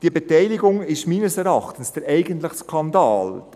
Diese Beteiligung ist meines Erachtens der eigentliche Skandal.